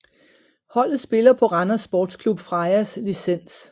Holdet spiller på Randers Sportsklub Frejas licens